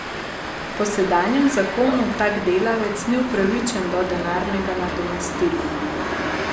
Po sedanjem zakonu tak delavec ni upravičen do denarnega nadomestila.